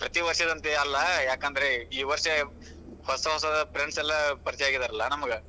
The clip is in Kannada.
ಪ್ರತಿ ವಷ೯ದಂತೆ ಅಲ್ಲ, ಯಾಕಂದ್ರ ಈ ವಷ೯ ಹೊಸ ಹೊಸ friends ಎಲ್ಲಾ ಪರಿಚಯಾ ಆಗಿದಾರಲ್ಲಾ ನಮ್ಗ್.